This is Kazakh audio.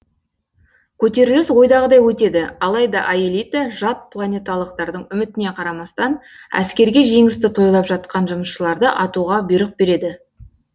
көтеріліс ойдағыдай өтеді алайда аэлита жат планеталықтардың үмітіне қарамастан әскерге жеңісті тойлап жатқан жұмысшыларды атуға бұйрық береді